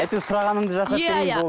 әйтеуір сұрағаныңды жасап беремін